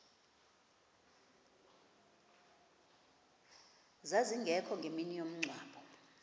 zazingekho ngemini yomngcwabo